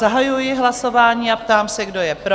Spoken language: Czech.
Zahajuji hlasování a ptám se, kdo je pro?